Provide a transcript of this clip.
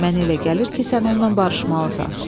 Mənə elə gəlir ki, sən onunla barışmalısan.